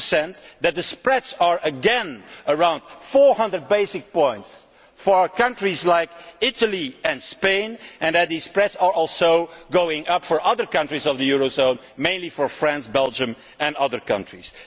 6 the spreads are again around 400 basic points for countries like Italy and Spain, and these spreads are also going up for other countries in the eurozone mainly for France, Belgium and other countries.